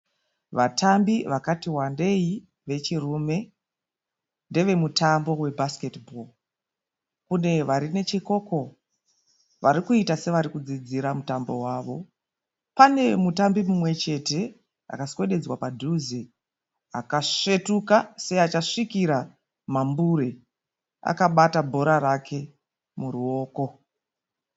Vatambi vakati wandei vechirume. Ndevemutambo we"basketball" kune vari nechekoko vari kuita sevari kudzidzira mutambo wavo. Pane mutambi mumwe chete akaswededzwa padhuze akasvetuka seachasvikira mambure akabata bhora rake muruoko.